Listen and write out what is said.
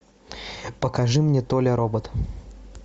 покажи мне толя робот